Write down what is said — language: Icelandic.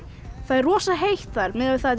það er rosa heitt þar miðað við það